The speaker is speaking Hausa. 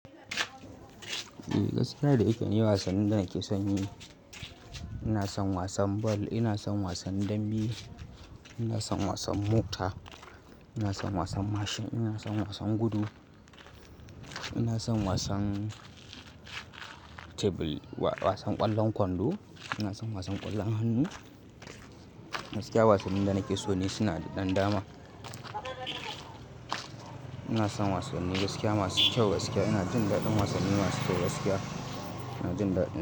Eh gaskiya da iken yi wasanni da nake son yi. Ina son wasan ball, ina son wasan dambe, ina son wasan mota, ina son wasan mashin, ina son wasan gudu, ina son wasan table, wasan ƙwallon kwando, ina son wasan ƙwallon hannu. Gaskiya wasannin da nake so ne suna da dandama. Ina son wasanni gaskiya masu kyau gaskiya. Ina jin daɗin wasannin masu kyau gaskiya. Ina jin daɗin.